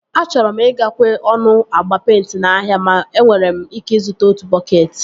Achọrọ m ị ga-kwe ọnụ agba peịnti n'ahịa ma enwere m ike ịzụta otu bọketị